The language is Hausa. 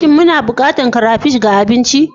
Shin muna buƙatar ƙara crayfish ga abinci?